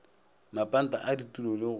mapanta a ditulo le go